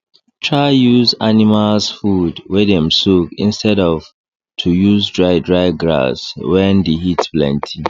try use animals food wey dem soak instead of to use dry dry grass wen d heat plenty